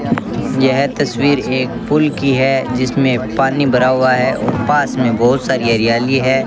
यह तस्वीर एक पुल की है जिसमें पानी भरा हुआ है और पास में बहुत सारी हरियाली है।